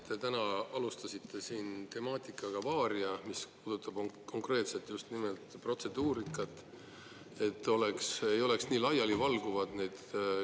Te täna alustasite siin teemaga "Varia", mis puudutab just nimelt protseduurikat, et küsimuse ei oleks nii laialivalguvad.